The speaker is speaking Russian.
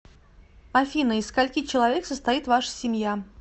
афина из скольки человек состоит ваша семья